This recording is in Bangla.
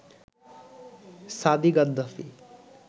সাদি গাদ্দাফি